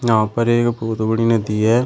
यहां पर एक बहुत बड़ी नदी है।